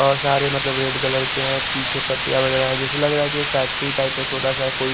और सारे मतलब रेड कलर के है पीछे पटिया वगेरा है जेसा लगरा की एक फैक्ट्री टाइप में छोटा सा कोई--